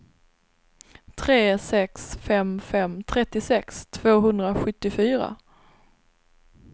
tre sex fem fem trettiosex tvåhundrasjuttiofyra